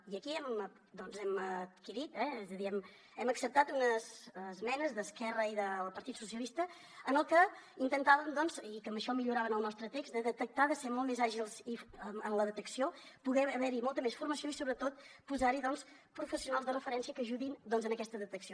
i aquí hem adquirit eh és a dir hem acceptat unes esmenes d’esquerra i del partit socialista en les que intentàvem i que amb això milloraven el nostre text de detectar de ser molt més àgils en la detecció poder haver hi molta més formació i sobretot posar hi doncs professionals de referència que ajudin a aquesta detecció